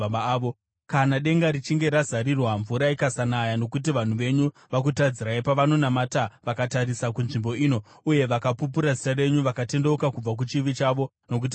“Kana denga richinge razarirwa mvura ikasanaya nokuti vanhu venyu vakutadzirai, pavanonamata vakatarisa kunzvimbo ino, uye vakapupura zita renyu, vakatendeuka kubva kuchivi chavo nokuti mavaranga,